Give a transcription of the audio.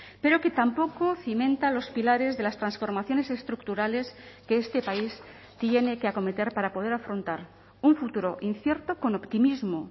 pero que tampoco cimenta los pilares de las transformaciones estructurales que este país tiene que acometer para poder afrontar un futuro incierto con optimismo